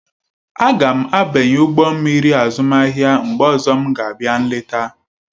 Aga m abanye ụgbọ mmiri azụmahịa mgbe ọzọ m ga-abịa nleta.